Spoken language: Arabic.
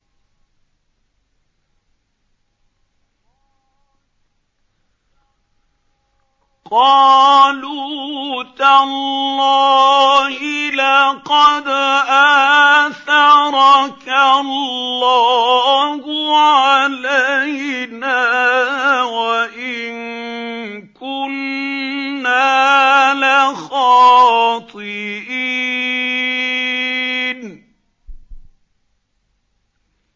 قَالُوا تَاللَّهِ لَقَدْ آثَرَكَ اللَّهُ عَلَيْنَا وَإِن كُنَّا لَخَاطِئِينَ